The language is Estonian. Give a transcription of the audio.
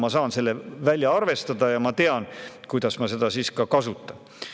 Ma saan selle välja arvestada ja ma tean, kuidas ma seda siis kasutan.